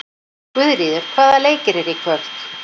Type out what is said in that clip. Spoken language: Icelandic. Guðríður, hvaða leikir eru í kvöld?